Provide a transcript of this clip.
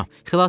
Xilas eləyin.